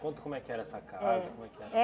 Conta como é que era essa casa. Como é que... Eh